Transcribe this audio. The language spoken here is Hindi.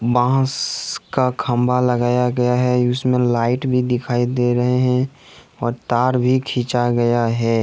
बास का खंबा लगाया गया है उसमें लाइट भी दिखाई दे रहे हैं और तार भी खींचा गया है।